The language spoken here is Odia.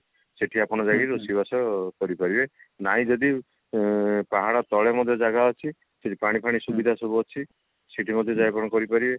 ସେଠି ଆପଣ ଯାଇକି ରୋଷେଇବାସ କରିପାରିବେ ନାହିଁ ଯଦି ଏଁ ପାହାଡ ତଳେ ମଧ୍ୟ ଜାଗା ଅଛି ସେଠି ପଣି ଫାଣି ସୁବିଧା ସବୁ ଅଛି ସେଠି ମଧ୍ୟ ଯାଇ ଆପଣ କରି ପାରିବେ